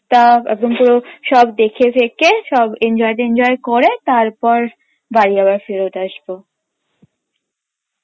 সব দেখে ঠেকে সব enjoy টেন্জয় করে তারপর বাড়ি আবার ফেরৎ আসবো